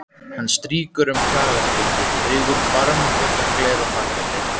Hann strýkur um kragaskeggið, augun barmafull af gleði og þakklæti.